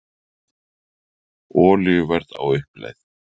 Olíuverð á uppleið